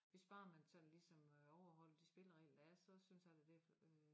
Hvis bare man sådan ligesom øh overholdt de spilleregler der er så synes han at det øh